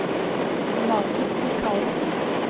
Margit Mikalsen